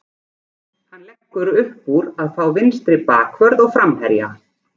Hann leggur uppúr að fá vinstri bakvörð og framherja.